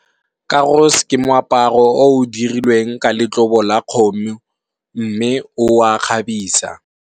Karos ke moaparo o o dirilweng ka letlobo la kgomo, mme o a kgabisa.